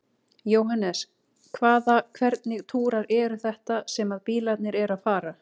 Jóhannes: Hvaða, hvernig túrar eru þetta sem að bílarnir eru að fara?